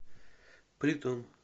притон